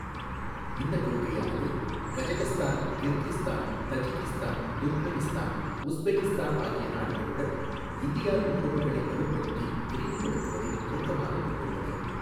இந்தக் கொள்கையானது Kazakhstan, Kyrgyzstan, Tajikistan, Turkmenistan, Uzbekistan ஆகிய நாடுகளுடன் இந்தியாவின் உறவுகளை வலுப்படுத்தி விரிவுபடுத்துவதை நோக்கமாகக் கொண்டுள்ளது.